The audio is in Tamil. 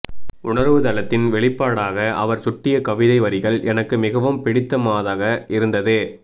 உணர்வு தளத்தின் வெளிப்பாடாக அவர் சுட்டிய கவிதை வரிகள் எனக்கு மிகவும் பிடித்தமாதாக இருந்தது